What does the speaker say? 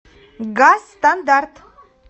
газстандарт